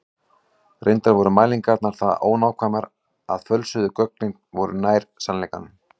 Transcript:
Reyndar voru mælingarnar það ónákvæmar að fölsuðu gögnin voru nær sannleikanum.